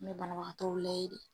N mɛ banabaatɔ layi de